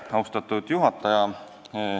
Austatud juhataja!